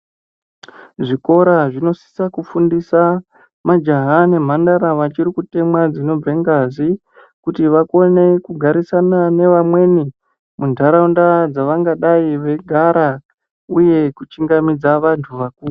Zvikora zvinosisa kufundisa majaha nemhandara vachirikutemwa dzinobvengazi kuti vakone kugarisana nevamweni mundharawunda dzavengadayi veyigara, uye kuchingamidza vantu vakuru.